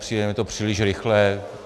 Přijde mi to příliš rychlé.